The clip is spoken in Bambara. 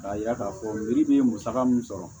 K'a yira k'a fɔ yiri bɛ musaka min sɔrɔ